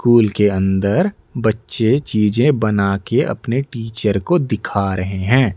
School के अंदर बच्चे चीजे बना के अपने टीचर को दिखा रहे हैं।